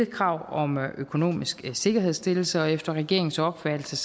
krav om økonomisk sikkerhedsstillelse og efter regeringens opfattelse